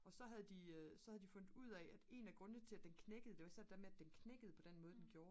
og så havde de så havde de fundet ud af at en af grundene til at den knækkede det var især det der med at den knækkede på den måde der gjorde